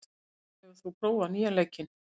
Oddur, hefur þú prófað nýja leikinn?